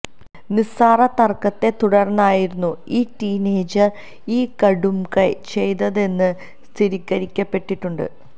നിസ്സാര തർക്കത്തെ തുടർന്നായിരുന്നു ഈ ടീനേജർ ഈ കടുംകൈ ചെയ്തതെന്നും സ്ഥിരീകരിക്കപ്പെട്ടിട്ടുണ്ട്